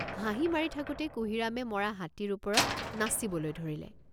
হাঁহি মাৰি থাকোতেই কুঁহিৰামে মৰা হাতীৰ ওপৰত নাচিবলৈ ধৰিলে।